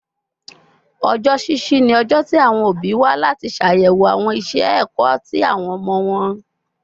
Ọjọ ṣiṣi ni ọjọ ti awọn obi wa lati ṣayẹwo awọn iṣẹ ẹkọ ti awọn ọmọ wọn